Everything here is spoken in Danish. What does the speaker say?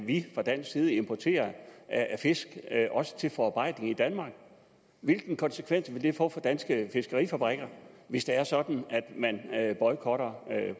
vi fra dansk side importerer af fisk også til forarbejdning i danmark hvilken konsekvens vil det få for danske fiskerifabrikker hvis det er sådan at man boykotter